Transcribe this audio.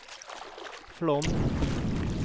Flåm